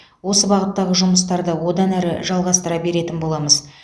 осы бағыттағы жұмыстарды одан әрі жалғастыра беретін боламыз